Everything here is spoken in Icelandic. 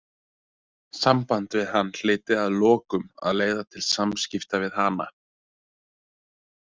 Samband við hann hlyti að lokum að leiða til samskipta við hana.